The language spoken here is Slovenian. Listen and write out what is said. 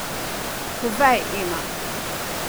Povej, Ema.